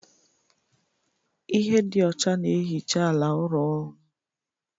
Ihe dị ọcha na-ehicha ala ụlọ ọrụ